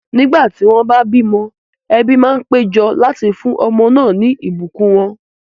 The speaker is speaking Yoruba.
Nígbà tí wọ́n bá bímọ, ẹbí máa ń pé jọ láti fún ọmọ náà ní ìbùkún wọn